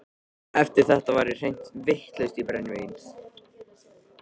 Eftir þetta var ég hreint vitlaus í brennivín.